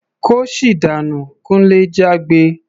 "Kóṣì dànú!" Kunle jágbe.